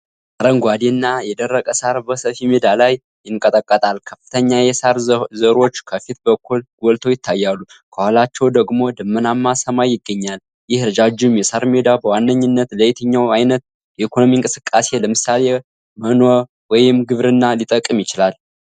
አረንጓዴ እና የደረቀ ሣር በሰፊ ሜዳ ላይ ይንቀጠቀጣል። ከፍተኛ የሣር ዘሮች ከፊት በኩል ጎልተው ይታያሉ፣ ከኋላቸው ደግሞ ደመናማ ሰማይ ይገኛል። ይህ ረጃጅም የሣር ሜዳ በዋነኝነት ለየትኛው ዓይነት የኢኮኖሚ እንቅስቃሴ (ለምሳሌ: መኖ ወይም ግብርና) ሊጠቅም ይችላል?